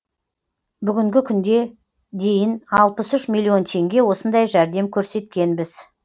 бүгінгі күнде дейін алпыс үш миллион теңге осындай жәрдем көрсеткенбіз